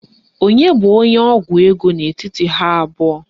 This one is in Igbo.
Onye bụ onye ọgwụ ego n'etiti ha abụọ?